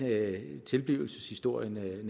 tilblivelseshistorien er og